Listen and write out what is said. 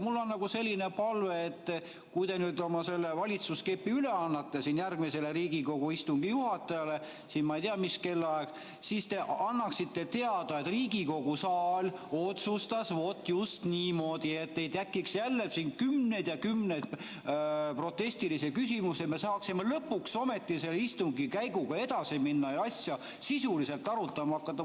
Mul on selline palve, et kui te nüüd valitsuskepi üle annate järgmisele Riigikogu istungi juhatajale, ma ei tea, mis kellaaeg, siis te annaksite teada, et Riigikogu saal otsustas just niimoodi, selleks et ei tekiks jälle siin kümneid ja kümneid protestiküsimusi, me saaksime lõpuks ometi selle istungi käiguga edasi minna ja asja sisuliselt arutama hakata.